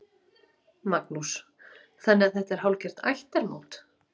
Magnús: Þannig að þetta er hálfgert ættarmót?